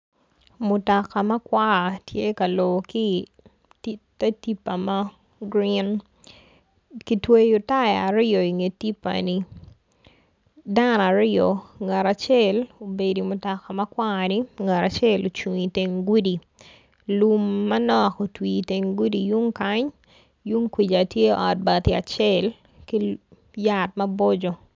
Mutoka makwar tye ka lor ki i te tipa ma green kitweyo taya aryo i nge tipa ni dano aryo ngat acel obedo i mutoka ma kwari ngat acel obedo i teng gudi lum manok otwi i teng gudi yung kany yunkwica tye ot acel ki yat maboco.